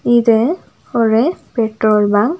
இது ஒரு petrol bunk .